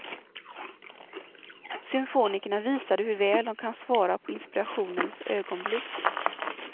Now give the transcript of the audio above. Symfonikerna visade hur väl de kan svara på inspirationens ögonblick.